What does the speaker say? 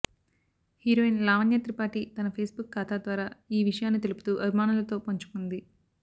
heroine Lavanya Tripathi తన Facebook ఖాతా ద్వారా ఈ విషయాన్ని తెలుపుతూ అభిమానులతో పంచుకుంది